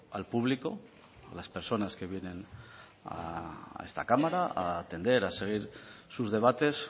al público a las personas que vienen a esta cámara a atender a seguir sus debates